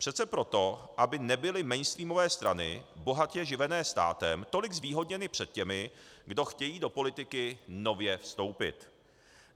Přece proto, aby nebyly mainstreamové strany bohatě živené státem tolik zvýhodněny před těmi, kdo chtějí do politiky nově vstoupit.